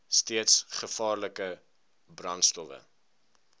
steeds gevaarlike brandstowwe